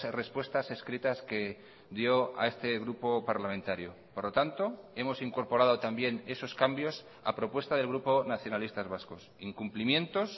respuestas escritas que dio a este grupo parlamentario por lo tanto hemos incorporado también esos cambios a propuesta del grupo nacionalistas vascos incumplimientos